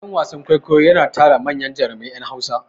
Gidan wasan kwaikwayo yana tara manyan jurumai ƴan wasa.